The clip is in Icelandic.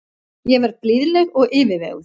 Ég verð blíðleg og yfirveguð.